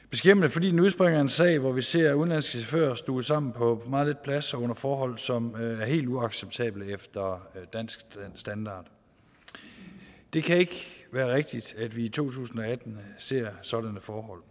fordi den udspringer af en sag hvor vi ser udenlandske chauffører stuvet sammen på meget lidt plads og under forhold som er helt uacceptable efter dansk standard det kan ikke være rigtigt at vi i to tusind og atten ser sådanne forhold